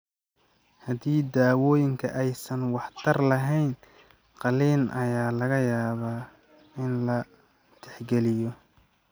Haddii daawooyinka aysan waxtar lahayn, qalliin ayaa laga yaabaa in la tixgeliyo.